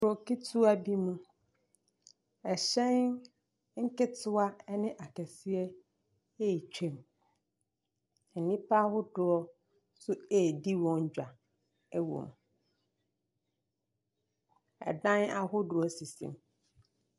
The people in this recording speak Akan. Kuro ketewa bi mo. ℇhyɛn nketewa ne akɛseɛ retwam. Nnipa ahodoɔ nso ahodoɔ redi wɔn dwa. ℇdan ahodoɔ sisi hɔ.